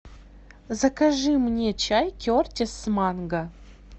закажи мне чай кертис с манго